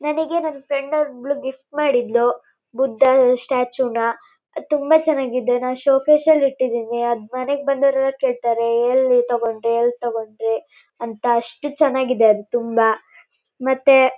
ನನಗೆ ನನ್ನಫ್ರೆಂಡ್ ಒಬ್ಬಳು ಗಿಫ್ಟ್ ಮಾಡಿದ್ಲು ಬುದ್ದ ಈ ಸ್ಟ್ಯಾಚುನ ತುಂಬಾ ಚೆನ್ನಾಗಿ ಇದೆ ನಾನು ಶೋ ಕೇಸ್ ಅಲ್ಲಿ ಇಟ್ಟಿದ್ದೀವಿ ಅದ ಮನೆಗೆ ಬಂದವರೆಲ್ಲಾ ಕೇಳತ್ತಾರೆ ಎಲ್ಲಿ ತಕೊಂಡ್ರಿ ಎಲ್ಲಿ ತಕೊಂಡ್ರಿ ಅಂತಾ ಅಷ್ಟು ಚೆನ್ನಾಗಿದೆ ಅದು ತುಂಬಾ ಮತ್ತೆ--